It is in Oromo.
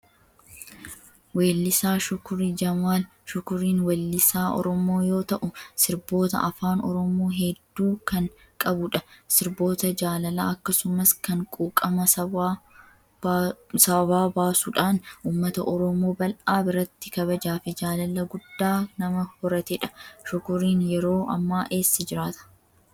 Weellisaa Shukurii Jamaal. Shukuriin weellisaa Oromoo yoo ta'u, sirboota afaan Oromoo hedduu kan qabudha. Sirboota jaalalaa akkasumas kan quuqama sabaa baasuudhaan uummata Oromoo bal'aa biratti kabajaa fi jaalala guddaa nama horatedha. Shukuriin yeroo ammaa eessa jiraata?